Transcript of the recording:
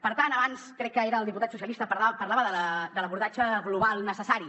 per tant abans crec que era el diputat socialista parlava de l’abordatge global necessari